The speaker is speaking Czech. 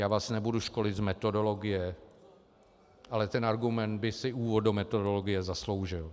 Já vás nebudu školit z metodologie, ale ten argument by si úvod do metodologie zasloužil.